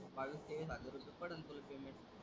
बावीस तेवीस हजार रुपये पडणं तुला पेमेंट.